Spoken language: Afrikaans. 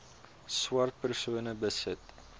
swart persone besit